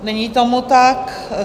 Není tomu tak.